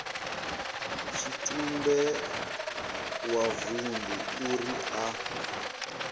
tshitumbe wa vundu uri a